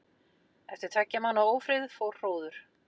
Eftir tveggja mánaða ófrið fór hróður